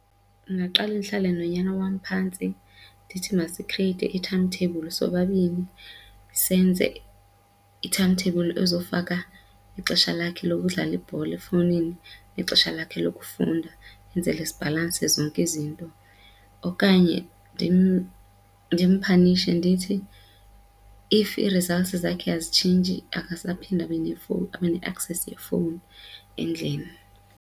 Ndingaqale ndihlale nonyana wam phantsi ndithi masikhrieiythe i-timetable sobabini senze i-timetable ezofaka ixesha lakhe lokudlala ibhola efowunini nexesha lakhe lokufunda, enzele zibhalanse zonke izinto. Okanye ndimphanishe ndithi if ii-results zakhe azitshintshi akasaphindi abe nefowuni abe ne-access yefowuni endlini.